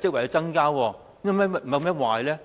職位的增加，有甚麼壞處呢？